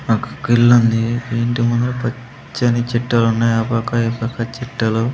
నాకు ఒక ఇల్లు ఉంది ఆ ఇంటి ముందు పచ్చని చెట్టులు ఉన్నాయ్ ఆ పక్క ఈ పక్క చెట్టులు.